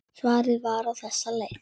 Svarið var á þessa leið